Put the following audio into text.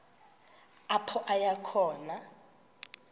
apho aya khona